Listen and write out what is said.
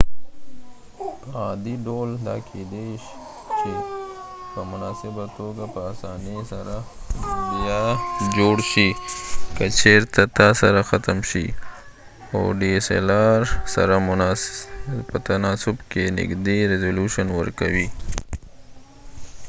په عادي ډول دا کېدای چې په مناسبه توګه په اسانۍ سره بیا جوړ شي که چېرته تا سره ختم شي او dslr سره په تناسب کې نږدې ریزلوشن ورکوي